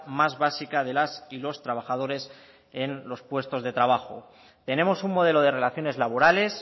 más básica de las y los trabajadores en los puestos de trabajo tenemos un modelo de relaciones laborales